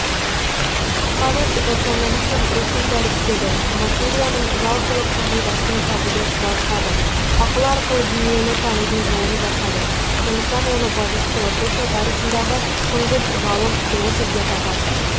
фалес рационализм рухын дәріптеді материаның жалпылық қағидасын табуды қуаттады ақыл арқылы дүниені танудың жолын жасады сондықтан оны батыс философия тарихындағы тұңғыш ғалым философ деп атады